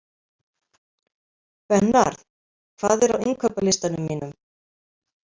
Bernharð, hvað er á innkaupalistanum mínum?